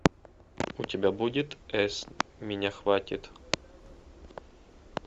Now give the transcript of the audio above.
у тебя будет с меня хватит